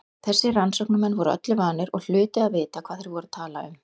Þessir rannsóknarmenn voru öllu vanir og hlutu að vita hvað þeir voru að tala um.